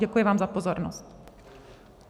Děkuji vám za pozornost.